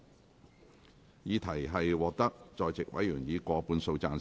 我認為議題獲得在席委員以過半數贊成。